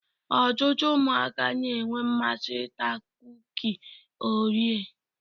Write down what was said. Ọtụtụ ụmụaka na-enwe mmasị ịta kuki orea.